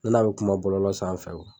Ne n'a bi kuma bɔlɔlɔ sanfɛ wo.